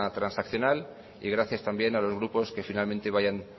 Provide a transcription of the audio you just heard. transaccional y gracias también a los grupos que finalmente vayan